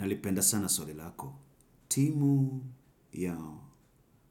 Nalipenda sana swali lako, timu ya